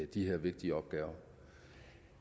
de her vigtige opgaver